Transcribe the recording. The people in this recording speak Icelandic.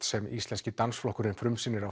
sem Íslenski dansflokkurinn frumsýnir